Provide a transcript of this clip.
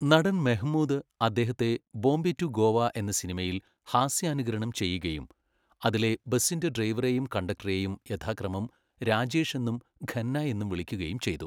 നടൻ മെഹ്മൂദ് അദ്ദേഹത്തെ "ബോംബെ റ്റു ഗോവ" എന്ന സിനിമയിൽ ഹാസ്യാനുകരണം ചെയ്യുകയും അതിലെ ബസ്സിന്റെ ഡ്രൈവറെയും കണ്ടക്ടറെയും യഥാക്രമം 'രാജേഷ്' എന്നും 'ഖന്ന' എന്നും വിളിക്കുകയും ചെയ്തു.